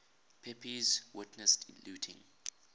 pepys witnessed looting